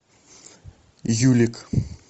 юлик